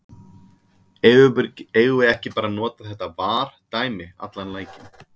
Eigum við ekki bara að nota þetta VAR dæmi allan leikinn?